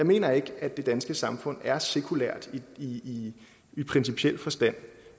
mener ikke at det danske samfund er sekulært i i principiel forstand